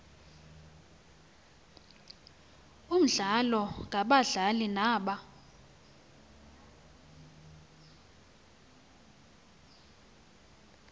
omdlalo ngabadlali naba